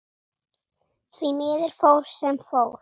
Því miður fór sem fór.